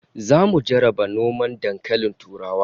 Zamu jarraba noman dankalin turawa